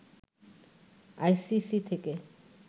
ICC থেকে